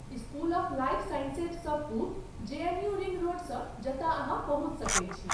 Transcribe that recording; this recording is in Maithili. स्कूल ऑफ लाइफ साइंसेजसँ पूब, जेएनयू रिंग रोडसँ जतय अहाँ पहुँचि सकैत छी।